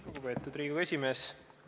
Lugupeetud Riigikogu esimees!